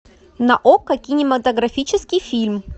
на окко кинематографический фильм